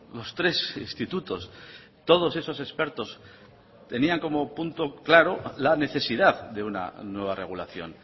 los tres institutos todos esos expertos tenían como punto claro la necesidad de una nueva regulación